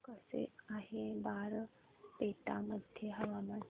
कसे आहे बारपेटा मध्ये हवामान